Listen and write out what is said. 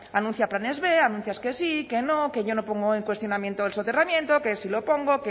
anuncia planes b anuncias que sí que no que yo no pongo en cuestionamiento el soterramiento que sí lo pongo